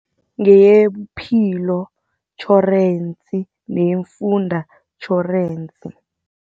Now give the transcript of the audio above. Ngeyobuphilo tjhorensi neemfundo tjhorensi.